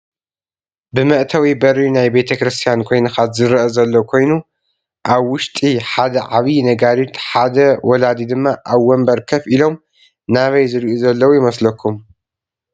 ብመእተዊ በሪ ናይ ቤተ ክርስትያን ኮይንካ ዝረአ ዘሎ ኮይኑ ኣብ ውሽጢ ሓደ ዓብይ ነጋሪት ፣ ሓደ ወላዲ ድማ ኣብ ወንበር ከፍ ኢሎም ናበይ ዝሪኡ ዘለው ይመስለኩም?